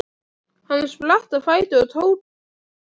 Hann spratt á fætur og tók til fótanna.